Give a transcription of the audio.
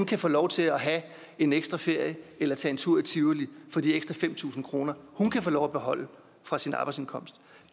kan få lov til at have en ekstra ferie eller tage en tur i tivoli for de ekstra fem tusind kr hun kan få lov at beholde fra sin arbejdsindkomst